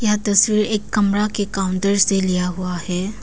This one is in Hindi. यह तस्वीर एक कमरा के काउंटर से लिया हुआ है।